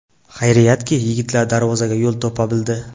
Xayriyatki, yigitlar darvozaga yo‘l topa bildi.